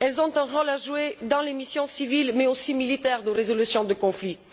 Elles ont un rôle à jouer dans les missions civiles, mais aussi militaires de résolution de conflits.